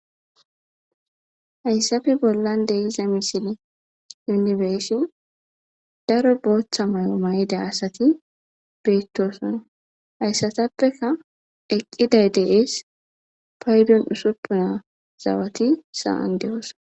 Hayssape bollan de7iza misilen nuni be7ishin daro booththa mayo mayida asati de7oosona. Hassapeka eqqidayti de7oosona .